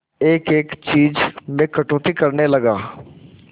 एक एक चीज में कटौती करने लगा